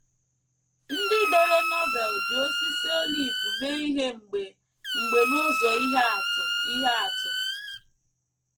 Ndị dere Novel ji osisi olive mee ihe mgbe mgbe n’ụzọ ihe atụ ihe atụ.